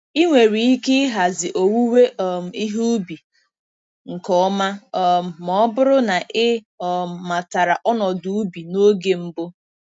Ị nwere ike ịhazi owuwe um ihe ubi nke ọma um ma ọ bụrụ na ị um matara ọnọdụ ubi n’oge mbụ.